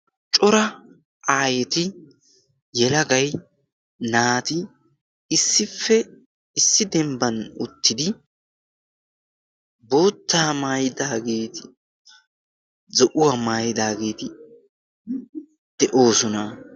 Cora aayeti yelagai naati issippe issi dembban uttidi boottaa maayidaageeti zo'uwaa maayidaageeti de'oosona.